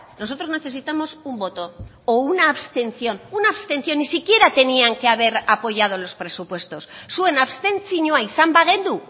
nosotros necesitamos un voto o una abstención una abstención ni siquiera tenían que haber apoyado los presupuestos zuen abstentzioa izan bagenu